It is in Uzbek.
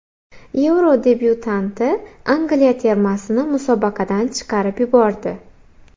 Yevro debyutanti Angliya termasini musobaqadan chiqarib yubordi.